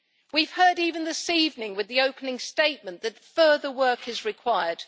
We have heard even this evening, with the opening statement, that further work is required.